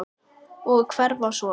Og hverfa svo.